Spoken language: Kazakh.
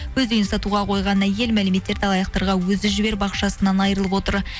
өз үйін сатуға қойған әйел мәліметтерді алаяқтарға өзі жіберіп ақшасынан айырылып отыр